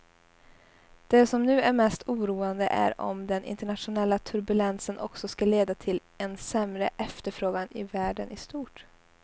Det som nu är mest oroande är om den internationella turbulensen också ska leda till en sämre efterfrågan i världen i stort.